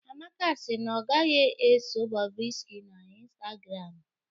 Amaka si na ọ gaghị eso Bobrisky na Instagram